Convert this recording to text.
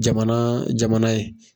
Jamana jamana ye.